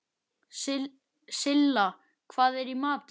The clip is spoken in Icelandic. Silla, hvað er í matinn?